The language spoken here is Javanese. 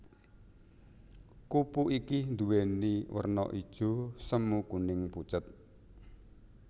Kupu iki nduwèni werna ijo semu kuning pucet